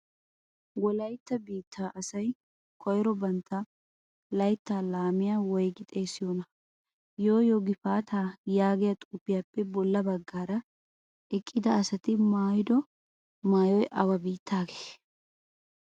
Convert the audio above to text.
Wolaytta biittaa asay koyro bantta layttaa laamiya woygi xeessiyonaa? Yoo yoo gifaataa yaagiya xuufiyappe bolla baggaara eqida asati maayiddo maayoy awa biittaagee?